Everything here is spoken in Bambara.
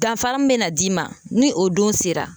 Danfara min bɛ na d'i ma ni o don sera